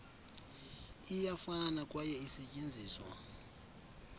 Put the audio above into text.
iyafana kwaye isetyenziswa